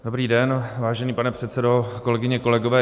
Dobrý den, vážený pane předsedo, kolegyně, kolegové.